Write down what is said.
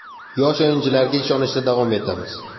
Yosh o‘yinchilarga ishonishda davom etamiz.